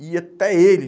E até ele.